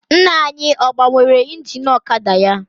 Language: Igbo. Nna anyị ọ gbanwere ingin ọkada ya?